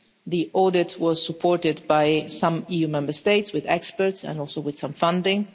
The audit was supported by some EU Member States with experts and also with some funding.